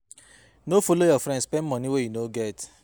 No follow your friends spend money wey you no get